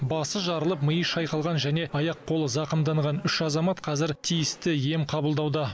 басы жарылып миы шайқалған және аяқ қолы зақымданған үш азамат қазір тиісті ем қабылдауда